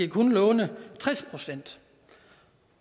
kun lånes tres procent